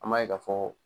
An b'a ye ka fɔ